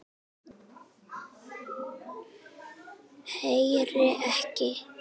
Heyri ekki.